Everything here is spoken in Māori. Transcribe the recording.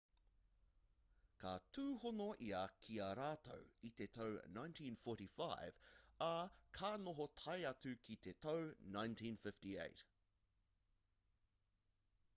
ka tūhono ia ki a rātou i te tau 1945 ā ka noho tae atu ki te tau 1958